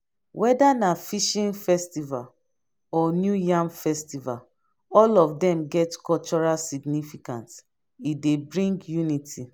weda na fishing festival or new yam festival all of dem get cultural significance e dey bring unity